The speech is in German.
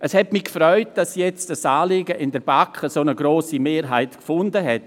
Es hat mich gefreut, dass dieses Anliegen jetzt in der BaK eine so grosse Mehrheit gefunden hat.